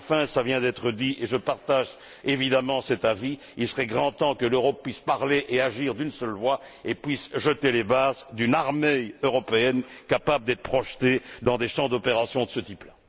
Enfin, cela vient d'être dit et je partage évidemment cet avis il serait grand temps que l'Europe puisse parler et agir d'une seule voix et puisse jeter les bases d'une armée européenne capable d'être projetée dans des champs d'opération de ce type là.